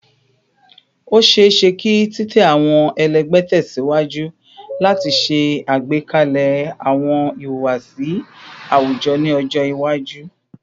O ṣeeṣe ki titẹ awọn ẹlẹgbẹ tẹsiwaju lati ṣe agbekalẹ awọn ihuwasi awujọ ni ọjọ iwaju